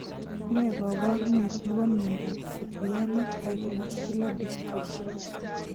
Nee kaparunet nebo miondap fukuyama type muscular dystrophy